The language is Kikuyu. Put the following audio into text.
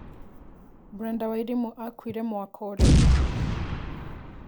Brenda Wairimu akuĩre mũaka ũrikũ